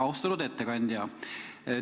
Austatud ettekandja!